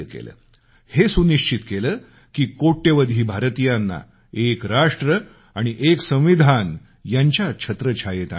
हे सुनिश्चित केलं की कोट्यवधी भारतीयांना एक राष्ट्र आणि एक संविधान यांच्या छत्रछायेत आणता येईल